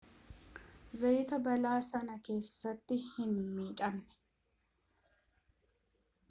zayaat balaa sana keessatti hin miidhamne